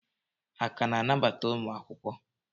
Ha ka na-anabata ụmụ akwụkwọ?